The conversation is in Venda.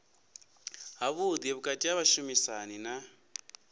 havhuḓi vhukati ha vhashumisani na